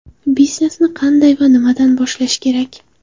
Biznesni qanday va nimadan boshlash kerak?